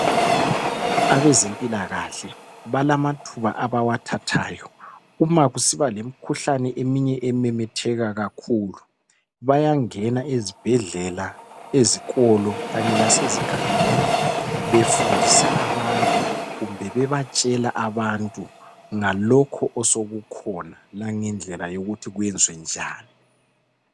Abezempilakahle balamathuba abawathathayo. Uma kusiba lemikhuhlane eminye ememetheka kakhulu. Bayangena ezibhedlela, ezikolo, kanye lasezigabeni. Befundisa abantu, kumbe bebatshela abantu, ngalokho osokukhona. Langendlela yokuthi kwenziwe njani.